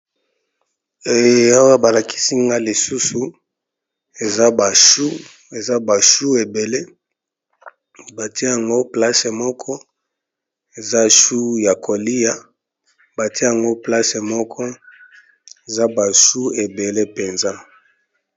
Awa balakisi nga lisusu eza bachu ebele bate yango place moko eza chu ya kolia bate yango place moko eza bashu ebele mpenza.